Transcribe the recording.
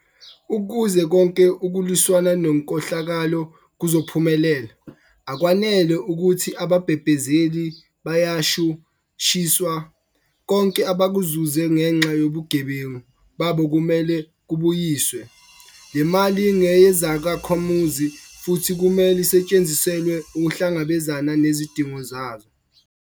Ukuze konke ukulwisana nenkohlakalo kuzophumelela, akwanele ukuthi ababhebhezeli bayashu shiswa. Konke abakuzuze ngenxa yobugebengu babo kumele kubuyiswe. Le mali ngeyezakhamuzi futhi kumele isetshenziselwe ukuhlangabezana nezidingo zazo.